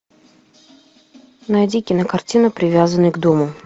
найди кинокартину привязанный к дому